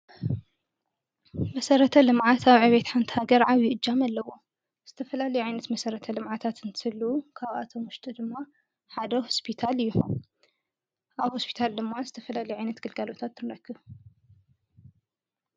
መሠረተ ልምዓት ኣብ ዕቤት ሓንቲ ሃገር ዓቢ እጃም ኣለዎ ። ዝተፈላለየ ዓይነት መሠረተ ልምዓታ እንትህሉ ካብኣቶም ውሽጢ ድማ ሓደ ሆሰፒታል እዩ። ኣብ ሆሰፒታልድማ ዝተፈላለየ ዓይነት ገልጋሎት ትንረክብ።